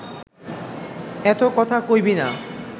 এত কথা কইবি না